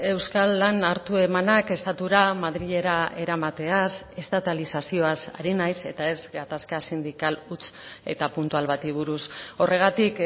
euskal lan hartu emanak estatura madrilera eramateaz estatalizazioaz ari naiz eta ez gatazka sindikal huts eta puntual bati buruz horregatik